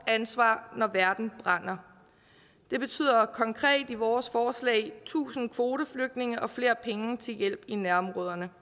ansvar når verden brænder det betyder konkret i vores forslag tusind kvoteflygtninge og flere penge til hjælp i nærområderne